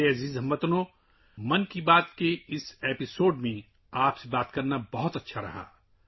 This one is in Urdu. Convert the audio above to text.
میرے پیارے ہم وطنو، ’من کی بات‘ کے اس ایپی سوڈ میں آپ کے ساتھ شامل ہونا بہت اچھا لگا